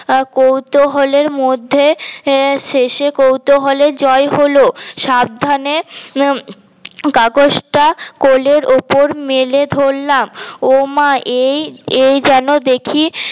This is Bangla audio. কৌতুহলের মধ্যে শেষে কৌতুহলের জয় হল সাবধানে কাগজ টা কোলের উপর মেলে ধরলাম ও মা এই এই যেন দেখি